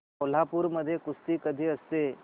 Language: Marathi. कोल्हापूर मध्ये कुस्ती कधी असते